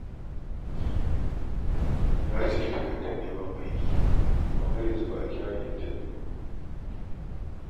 Na cike takardar neman aiki amma har yanzu ba a kira ni intabiyu ba